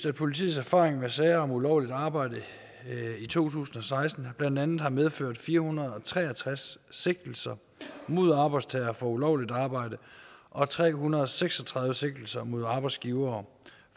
at politiets erfaring med sager om ulovligt arbejde i to tusind og seksten blandt andet har medført fire hundrede og tre og tres sigtelser mod arbejdstagere for ulovligt arbejde og tre hundrede og seks og tredive sigtelser mod arbejdsgivere